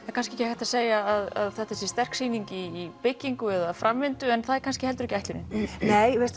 er kannski ekki hægt að segja að þetta sé sterk sýning í byggingu eða framvindu en það er kannski heldur ekki ætlunin nei